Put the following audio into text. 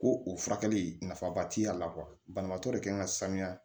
Ko o furakɛli nafaba t'a la banabaatɔ de kan ka sanuya